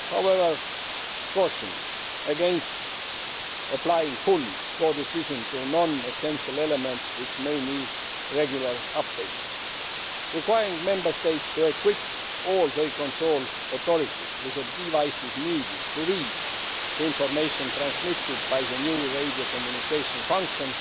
I would, however, caution against applying full codecision to non essential elements which may need regular updates, and requiring Member States to equip all their control authorities with the devices needed to read the information transmitted by the new radio communication function